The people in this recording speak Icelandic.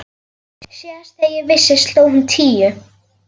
TRYGGVI: Síðast þegar ég vissi sló hún tíu.